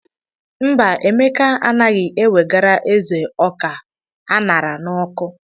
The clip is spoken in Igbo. Mba, Emeka anaghị ewegara ézè ọka a ṅara n'ọkụ.